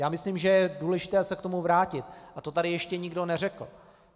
Já myslím, že je důležité se k tomu vrátit, a to tady ještě nikdo neřekl.